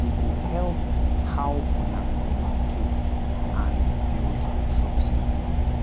e go help how una communicate and build trust